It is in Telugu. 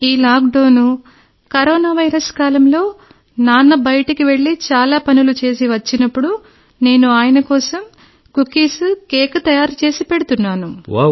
ఈ లాక్డౌన్ కరోనా వైరస్ కాలంలో నాన్న బయటికి వెళ్ళి చాలా పనులు చేసి వచ్చినప్పుడు నేను ఆయన కోసం కుకీస్ కేక్ తయారు చేసి పెడుతున్నాను